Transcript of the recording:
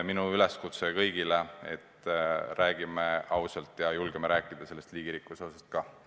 Minu üleskutse kõigile: räägime ausalt, ja julgeme rääkida liigirikkuse hoidmisest ka!